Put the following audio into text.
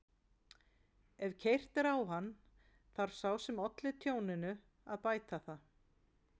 Ef keyrt er á hann þarf sá sem olli tjóninu að bæta það.